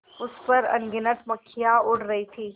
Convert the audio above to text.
उस पर अनगिनत मक्खियाँ उड़ रही थीं